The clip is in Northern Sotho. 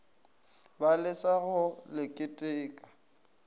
ba lesa go le keteka